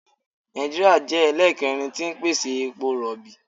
Nàìjíríà jẹ́ ẹlẹ́ẹ̀kẹrin tí ń pèsè epo rọ̀bì.